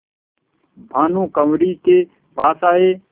भानुकुँवरि के पास आये